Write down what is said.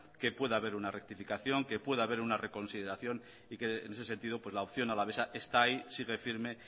que puede haber una rectificación que puede haber una reconsideración y que en ese sentido la opción alavesa está ahí sigue firme